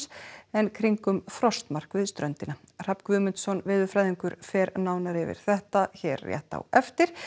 en kringum frostmark við ströndina Hrafn Guðmundsson veðurfræðingur fer nánar yfir þetta hér rétt á eftir